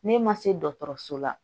Ne ma se dɔgɔtɔrɔso la